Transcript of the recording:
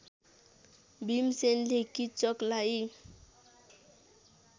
भीमसेनले किच्चकलाई